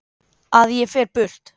Að ég fer burt.